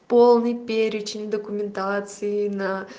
полный перечень документации на